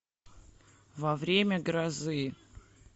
во время грозы